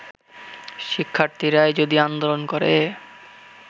শিক্ষার্থীরাই যদি আন্দোলন করে